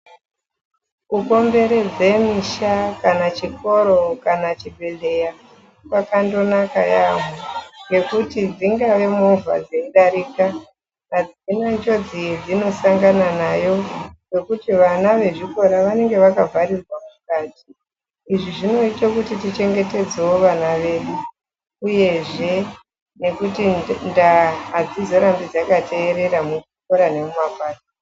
Kukomberedze musha kana chikoro kana chibhehleya kwakandonaka yambo ngekuti dzingava movha dzeidarika adzina njodzi yadzinosanganadzo nayo ngekuti vana vechikora vanenge vakavharirwa mukati izvi zvinoite kuti tichengetedzewo vana vedu uyezve ndaa adzizorambi dzakaterera muzvikora nemumapato.